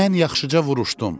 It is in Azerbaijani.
Mən yaxşıca vuruşdum,